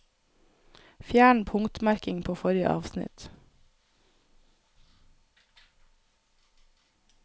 Fjern punktmerking på forrige avsnitt